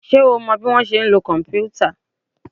Ṣé o mọ bọ́ ṣe ń lo kòmpútà?